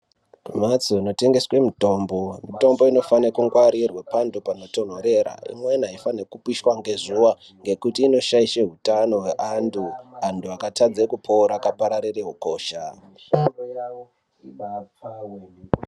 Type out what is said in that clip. Kumphatso kunotengeswe mitombo, mitombo inofane kungwarirwa panthu panotonthorera. Imweni aifani kupishwa ngezuwa, ngekuti inoshaishe utano hweanthu, anthu akatadze kupora, akapararire ukosha.